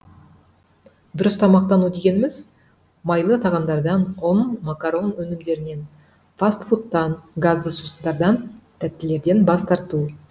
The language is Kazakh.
дұрыс тамақтану дегеніміз майлы тағамдардан ұн макарон өнімдерінен фаст фудтан газды сусындардан тәттілерден бас тарту